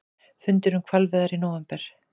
Fundur um hvalveiðar í nóvember